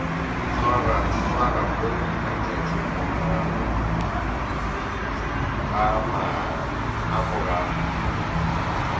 swarwa mo matšatšing a morago